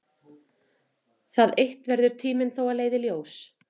Það eitt verður tíminn þó að leiða í ljós.